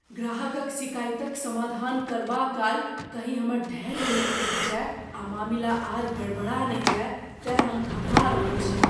ग्राहकक सिकाइतक समाधान करबा काल कहीँ हमर धैर्य ने टूटि जाय आ मामिला आर गड़बड़ा ने जाए तेँ हम घबरा रहल छी।